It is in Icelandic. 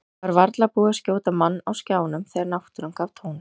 Það var varla búið að skjóta mann á skjánum þegar náttúran gaf tóninn.